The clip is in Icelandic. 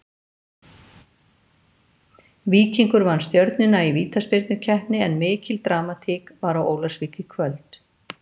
Víkingur vann Stjörnuna í vítaspyrnukeppni en mikil dramatík var á Ólafsvík í kvöld.